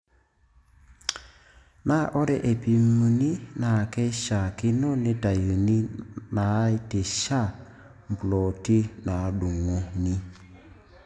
Naa ore eipimuni naa keishaakino neitayuni naaitisha mploti naadung'uni.